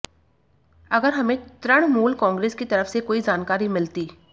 अगर हमें तृणमूल कांग्रेस की तरफ से कोई जानकारी मिलती